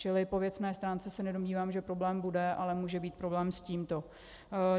Čili po věcné stránce se nedomnívám, že problém bude, ale může být problém s tímto.